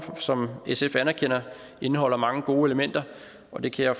som sf anerkender indeholder mange gode elementer og det kan jeg